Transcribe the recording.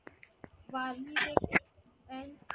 वारणेत एक